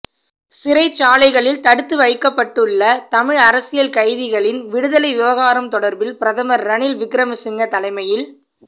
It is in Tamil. சிறைச்சாலைகளில் தடுத்துவைக்கப்பட்டுள்ள தமிழ் அரசியல் கைதிகளின் விடுதலை விவகாரம் தொடர்பில் பிரதமர் ரணில் விக்கிரமசிங்க தலைமையில்